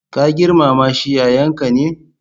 Ka girmama shi, yayanka ne.